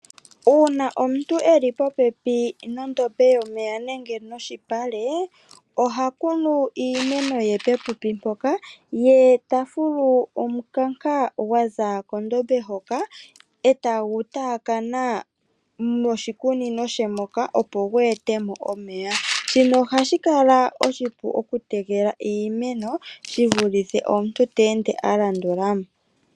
Uuna omuntu e li popepi nondombe yomeya nenge noshipale, oha kunu iimeno ye popepi mpoka, ye ta fulu omukanka gwaza kondombe hoka e ta gu taakana moshikunino she moka opo gu e te mo omeya. Shino ohashi kala oshipu oku tekela iimeno, shi vulithe omuntu ta ende a landula mo.